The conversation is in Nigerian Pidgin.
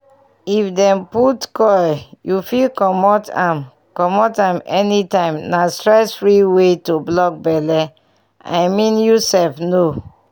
if dem put coil you fit comot am comot am anytime na stress-free way to block belle i mean you sef know!